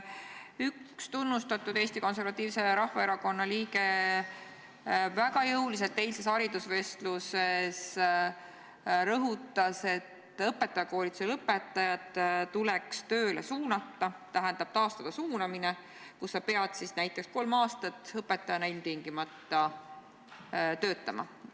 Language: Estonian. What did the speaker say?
Üks Eesti Konservatiivse Rahvaerakonna tunnustatud liige rõhutas väga jõuliselt eilses haridusvestluses, et õpetajakoolituse lõpetajad tuleks tööle suunata, tähendab, tuleks taastada suunamine, et peab näiteks kolm aastat ilmtingimata õpetajana töötama.